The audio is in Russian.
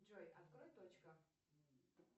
джой открой точка